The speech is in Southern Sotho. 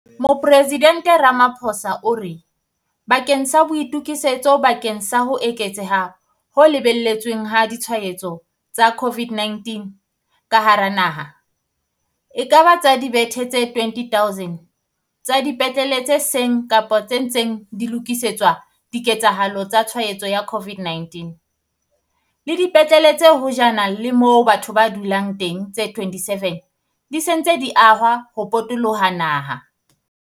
Mopresidente Ramaphosa o re, bakeng sa boitokisetso bakeng sa ho eketseha ho lebeletsweng ha ditshwaetso tsa COVID-19 ka hara naha, ekaba tsa dibethe tse 20 000 tsa dipetlele tse seng kapa tse ntseng di lokisetswa diketsahalo tsa tshwaetso ya COVID-19, le dipetlele tse hojana le moo batho ba du-lang teng tse 27 di se dintse di ahwa ho potoloha naha.